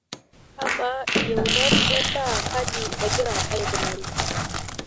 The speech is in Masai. amaa iyieunat en'daa kaji egira aikunari